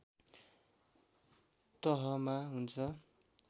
तहमा हुन्छ